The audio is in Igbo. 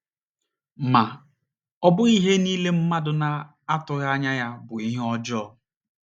Ma, ọ bụghị ihe niile mmadụ na - atụghị anya ya bụ ihe ọjọọ.